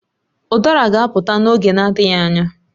Udara ga-apụta n'oge na-adịghị anya